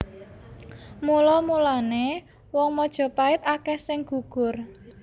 Mula mulané wong Majapait akèh sing gugur